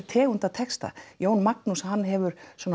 tegund af texta Jón Magnús hann hefur